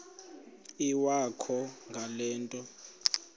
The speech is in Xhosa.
iwakho ngale nto